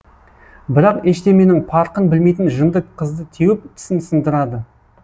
бірақ ештеменің парқын білмейтін жынды қызды теуіп тісін сындырады